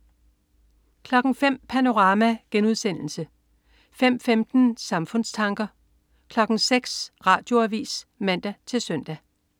05.00 Panorama* 05.15 Samfundstanker* 06.00 Radioavis (man-søn)